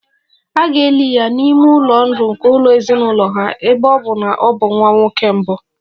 A ga-eli ya n'ime ụlọ ndụ nke ụlọ ezinụlọ ha, ebe ọ bụ na ọ bụ nwa nwoke mbụ